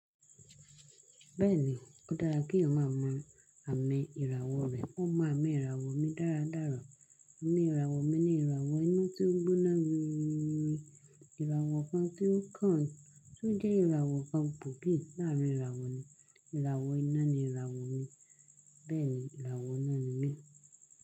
Bẹ́ẹ̀ni, ó dára kí èèyàn máa mọ àmì ìràwọ̀ rẹ. Mo mọ àmì ìràwọ̀ mi dáradára. Àmì ìràwọ̀ mi ni ìràwọ̀ iná tí ó ń gbóná wiriwi. Ìràwọ̀ kàn tí ó kan tí ó jẹ́ ìràwọ̀ kàn gbòógìi láàárín ìràwọ̀ ni. Ìràwọ̀ iná ni ìràwọ̀ mi, bẹ́ẹ̀ ni ìràwọ̀ iná ni mi.